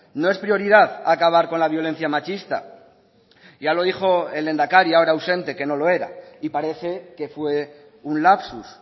no es prioridad acabar con la violencia machista ya lo dijo el lehendakari ahora ausente que no lo era y parece que fue un lapsus